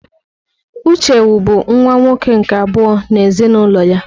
Uche wu bụ nwa nwoke nke abụọ n'ezinụlọ ya.